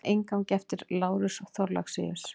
Með inngangi eftir Lárus Thorlacius.